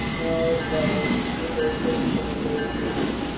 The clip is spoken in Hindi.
मैं और दादाजी बिस्कुट और सेब टूँग रहे थे